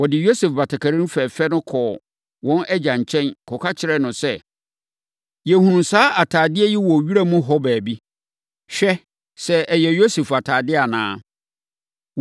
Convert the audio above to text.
Wɔde Yosef batakari fɛfɛ no kɔɔ wɔn agya nkyɛn, kɔka kyerɛɛ no sɛ, “Yɛhunuu saa atadeɛ yi wɔ wura mu hɔ baabi. Hwɛ sɛ ɛyɛ Yosef atadeɛ anaa?”